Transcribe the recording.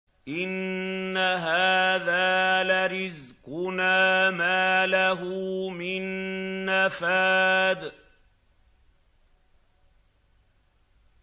إِنَّ هَٰذَا لَرِزْقُنَا مَا لَهُ مِن نَّفَادٍ